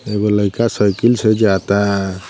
एगो लइका साइकिल से जाता --